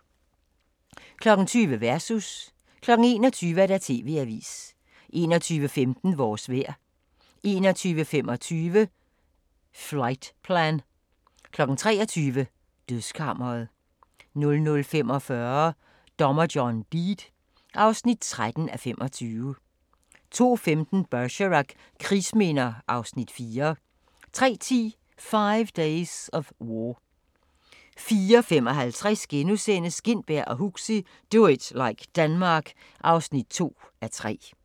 20:00: Versus 21:00: TV-avisen 21:15: Vores vejr 21:25: Flightplan 23:00: Dødskammeret 00:45: Dommer John Deed (13:25) 02:15: Bergerac: Krigsminder (Afs. 4) 03:10: Five Days of War 04:55: Gintberg og Huxi – Do it like Denmark (2:3)*